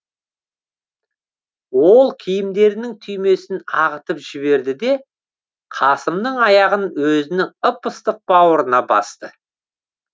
ол киімдерінің түймесін ағытып жіберді де қасымның аяғын өзінің ып ыстық бауырына басты